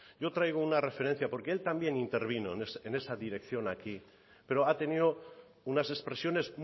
yo traigo una referencia porque él también intervino en esa dirección aquí pero ha tenido unas expresiones